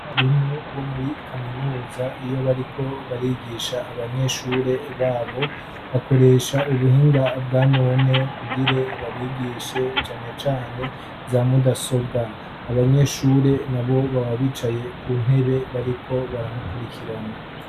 abarimu bo muri kaminuza iyo bariko barigisha abanyeshure babo bakoresha ubuhinga bwa none kugire babigishe cane cane za mudasobwa abanyeshure na bo baba bicaye ku ntebe bariko baramukurikirana